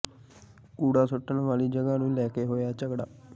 ਕੂੜਾ ਸੁੱਟਣ ਵਾਲੀ ਜਗ੍ਹਾ ਨੂੰ ਲੈ ਕੇ ਹੋਇਆ ਝਗੜਾ